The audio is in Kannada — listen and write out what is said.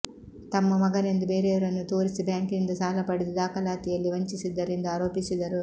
ತಮ್ಮ ಮಗನೆಂದು ಬೇರೆಯವರನ್ನು ತೋರಿಸಿ ಬ್ಯಾಂಕಿನಿಂದ ಸಾಲ ಪಡೆದು ದಾಖಲಾತಿಯಲ್ಲಿ ವಂಚಿಸಿದ್ದರು ಎಂದು ಆರೋಪಿಸಿದರು